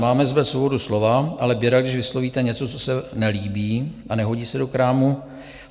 Máme zde svobodu slova, ale běda, když vyslovíte něco, co se nelíbí a nehodí se do krámu.